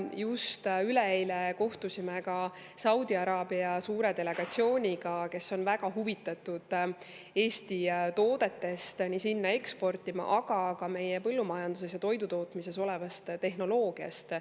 Just üleeile kohtusime Saudi Araabia suure delegatsiooniga, kes on väga huvitatud Eesti toodete eksportimisest sinna, aga ka meie põllumajanduses ja toidutootmises tehnoloogiast.